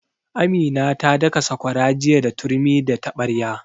Amina ta daka sakwara jiya da turmi da taɓarya